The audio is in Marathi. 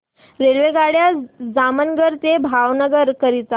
रेल्वेगाड्या जामनगर ते भावनगर करीता